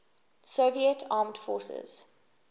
soviet armed forces